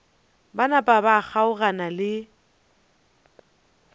ba napa ba kgaogana le